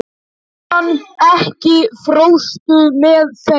Júlíana, ekki fórstu með þeim?